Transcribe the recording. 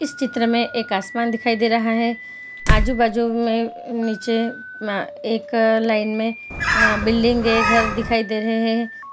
इस चित्र में एक आसमान दिखाई दे रहा है आजू-बाजू में अ नीचे एक अ लाइन में बिल्डिंग के घर दिखाई दे रहे हैं।